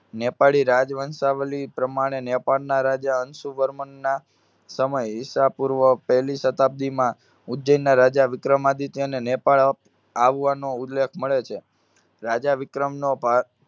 નેપાળી રાજ વંશાવલી પ્રમાણે નેપાળના રાજા અંશુવર્મનના સમય ઈસા પૂર્વ પહેલી શતાબ્દીમાં ઉજ્જૈનના રાજા વિક્રમાદિત્યને નેપાળ આવવાનો ઉલ્લેખ મળે છે. રાજા વિક્રમનો ભા~